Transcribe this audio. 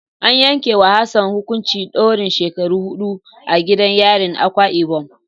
An yanke wa Hassan hukuncin daurin shekara hidu a gidan yarin Akwa ibom.